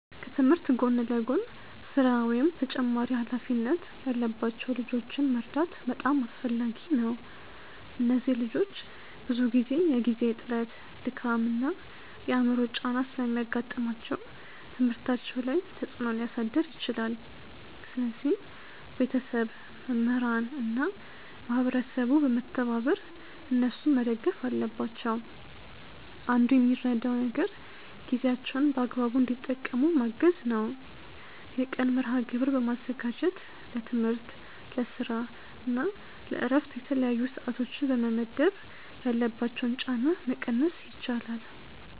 ከትምህርት ጎን ለጎን ስራ ወይም ተጨማሪ ሃላፊነት ያለባቸው ልጆችን መርዳት በጣም አስፈላጊ ነው። እነዚህ ልጆች ብዙ ጊዜ የጊዜ እጥረት፣ ድካም እና የአእምሮ ጫና ስለሚያጋጥማቸው ትምህርታቸው ላይ ተፅእኖ ሊያሳድር ይችላል። ስለዚህ ቤተሰብ፣ መምህራን እና ማህበረሰቡ በመተባበር እነሱን መደገፍ አለባቸው። አንዱ የሚረዳው ነገር ጊዜያቸውን በአግባቡ እንዲጠቀሙ ማገዝ ነው። የቀን መርሐግብር በማዘጋጀት ለትምህርት፣ ለስራ እና ለእረፍት የተለያዩ ሰዓቶችን በመመደብ ያለባቸውን ጫና መቀነስ ይቻላል።